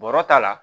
Bɔrɔ ta la